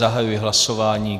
Zahajuji hlasování.